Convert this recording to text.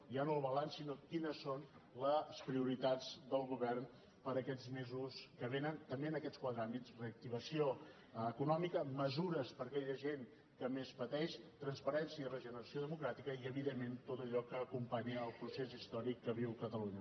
ja no el balanç sinó quines són les prioritats del govern per a aquests mesos que vénen també en aquests quatre àmbits reactivació econòmica mesures per a aquella gent que més pateix transparència i regeneració de·mocràtica i evidentment tot allò que acompanya el procés històric que viu catalunya